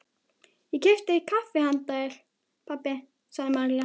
Ég keypti kaffi handa þér, pabbi, sagði María.